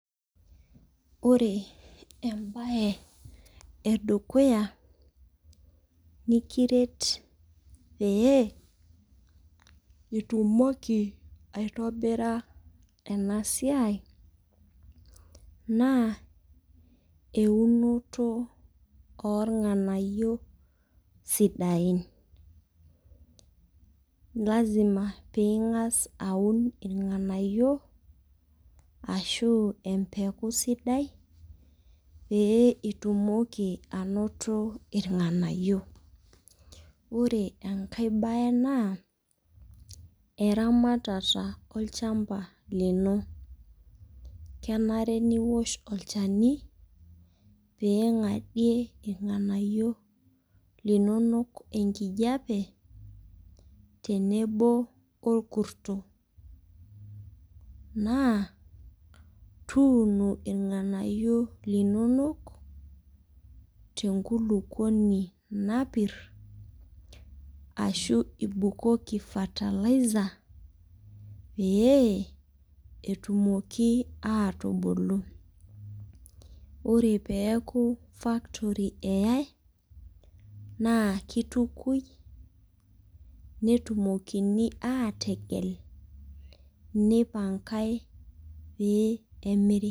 Ore ebae edukuya, nimiret, pee itumoki aitobira ena siai, naa eunoto ornganayio sidain. lasima pee ingas aun ornganayio. ashu empeku sidai. pee itumoki anoto ilnganayio. ore enkae bae naa eramatata olchampa lino. kenare niosh olchani, pee ing'adie ilnganayio linonok enkijiape tenebo orkuto. naa tuuno ilnganayio linonok tenkulupuoni napir. ashu ibukoki fertilizer pee etumoki aatubulu. ore peeku factory eyae naa kitukui, netumokini aategel, neipangae pee emiri.